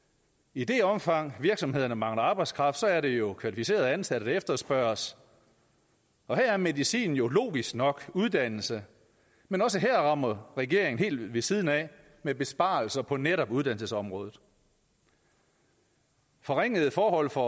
i det omfang virksomhederne mangler arbejdskraft er det jo kvalificerede ansatte der efterspørges og her er medicinen jo logisk nok uddannelse men også her rammer regeringen helt ved siden af med besparelser på netop uddannelsesområdet forringede forhold for